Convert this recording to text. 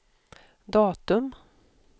datum